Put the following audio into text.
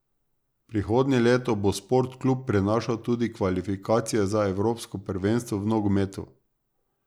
Prihodnje leto bo Sport Klub prenašal tudi kvalifikacije za Evropsko prvenstvo v nogometu.